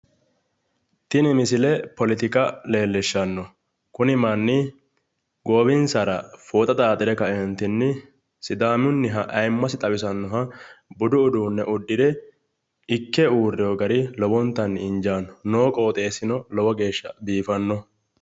Tini misile politika leellishanno kuni manni goowinsara fooxa xaaxire ka'eentinni sidaamunniha ayimmasi xawisannoha budu uduunne uddire ikke uurrewo gari lowontanni injaanno noo qooxeessino lowontanni biifanno